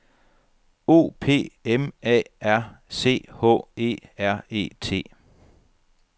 O P M A R C H E R E T